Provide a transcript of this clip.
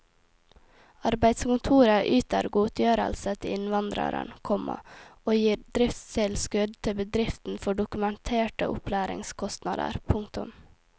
Arbeidskontoret yter godtgjørelse til innvandreren, komma og gir driftstilskudd til bedriften for dokumenterte opplæringskostnader. punktum